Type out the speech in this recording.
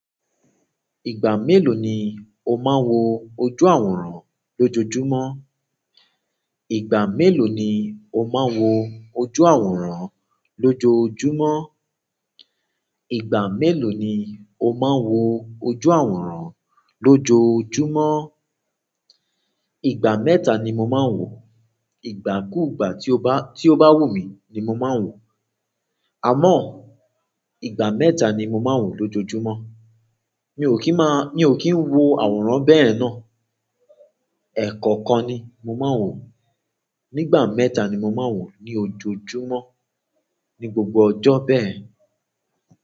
Ìgbà mélòó ni o máa ń wo ojú àwòrán lójojúmọ́? Ìgbà mélòó ni o máa ń wo ojú àwòrán lójojúmọ́? Ìgbà mélòó ni o máa ń wo ojú àwòrán lójojúmọ́? Ìgbà mẹ́ta ni mo máa ń wò. Ìgbà kú ìgbà tí o bá, tí o bá wù mí ni mo máa ń wò. Àmọ́, ìgbà mẹ́ta ni mo máa ń wò lójojúmọ́. Mi ò kì í máa, mi ò kì í wo àwòrán bẹ́ẹ̀ náà. Ẹ̀kọ̀kan ni mo máa ń wò. Nígbà mẹ́ta ni mo máa ń wò ní ojojúmọ́ ní gbogbo ọjọ́ bẹ́ẹ̀.